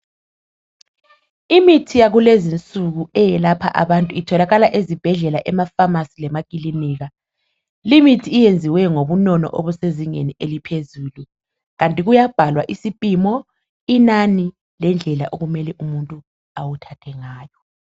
Imithi yakulezinsuku eyelapha abatu itholakala ezibhedlela, emafamasi lemakilinika, limithi iyenziwe ngobunono obusezinengi eliphezulu kanti kuyabhalwa isipimo inani, lendlela okumele umuntu awuthathe ngayo.